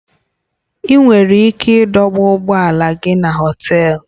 Ị nwere ike ịdọba ụgbọ ala gị na Họtelu